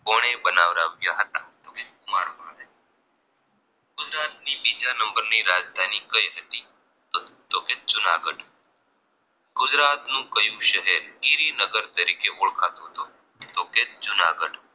ની બીજા number ની રાજધાની કઈ હતી તો કે જૂનાગઢ ગુજરાતનું કયું શહેર ગિરિનગર તરીકે ઓળખાતું હતું તો કે જૂનાગઢ